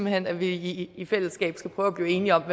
hen at vi i fællesskab skal prøve at blive enige om